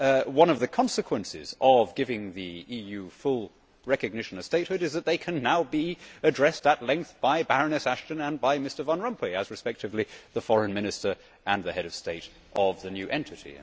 One of the consequences of giving the EU full recognition of statehood is that they now can be addressed at length by Baroness Ashton and by Mr Van Rompuy as, respectively, the foreign minister and the head of state of the new entity.